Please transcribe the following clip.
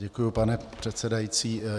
Děkuji, pane předsedající.